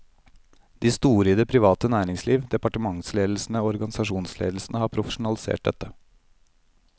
De store i det private næringsliv, departementsledelsene og organisasjonsledelsene har profesjonalisert dette.